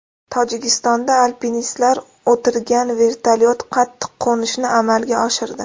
Tojikistonda alpinistlar o‘tirgan vertolyot qattiq qo‘nishni amalga oshirdi.